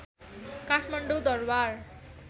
Kathmandu Durbar